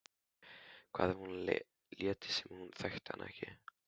Hvað ef hún léti sem hún þekkti hann ekki?